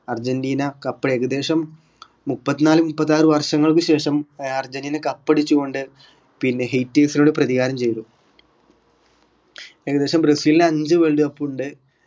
Argentina cup ഏകദേശം മുപ്പത്നാല് മുപ്പത്താറ് വർഷങ്ങൾക്ക് ശേഷം ഏർ അർജന്റീന cup അടിച്ചുകൊണ്ട് പിന്നെ haters നോട് പ്രതികാരം ചെയ്‌തു ഏകദേശം ബ്രസിലിന് അഞ്ച് world cup ഉണ്ട്